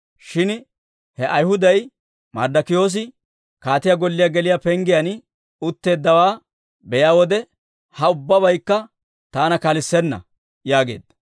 Shin he Ayhuday Marddokiyoosi kaatiyaa golliyaa geliyaa penggiyaan utteeddawaa be'iyaa wode, ha ubbabaykka taana kalissenna» yaageedda.